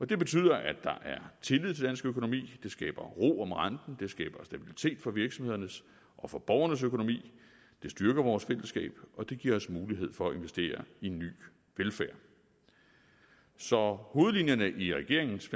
det betyder at der er tillid økonomi det skaber ro om renten det skaber stabilitet for virksomhedernes og for borgernes økonomi det styrker vores fællesskab og det giver os mulighed for at investere i ny velfærd så hovedlinjerne i regeringens